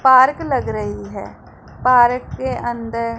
park लग रही है पारक के अंदर--